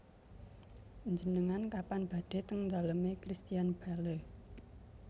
Njenengan kapan badhe teng dalem e Christian Bale